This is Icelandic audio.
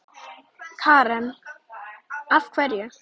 Karen: Af hverju?